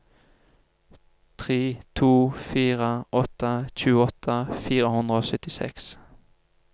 tre to fire åtte tjueåtte fire hundre og syttiseks